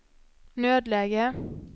nödläge